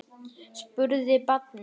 spurði barnið.